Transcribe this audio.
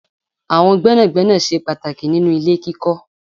Àwọn gbénàgbénà ṣe pàtàkì nínú ilé kíkọ́.